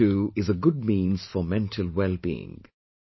Yoga too is a good means for mental wellbeing